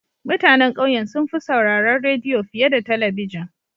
Mutanen ƙauyen sun fi sauraron rediyo fiye da talabijin.